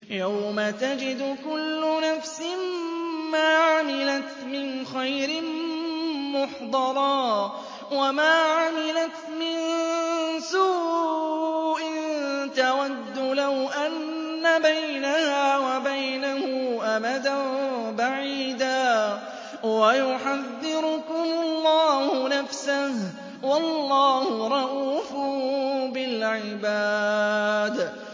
يَوْمَ تَجِدُ كُلُّ نَفْسٍ مَّا عَمِلَتْ مِنْ خَيْرٍ مُّحْضَرًا وَمَا عَمِلَتْ مِن سُوءٍ تَوَدُّ لَوْ أَنَّ بَيْنَهَا وَبَيْنَهُ أَمَدًا بَعِيدًا ۗ وَيُحَذِّرُكُمُ اللَّهُ نَفْسَهُ ۗ وَاللَّهُ رَءُوفٌ بِالْعِبَادِ